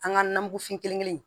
An ka nanbufin kelen kelen